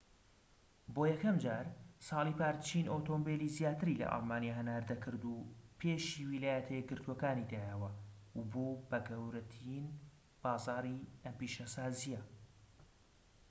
بۆ یەکەمجار ساڵی پار چین ئۆتۆمبیلی زیاتر لە ئەڵمانیا هەناردە کرد و پێشی ویلایەتە یەکگرتوەکان دایەوە و بووە گەورەترین بازاری ئەم پیشەسازیە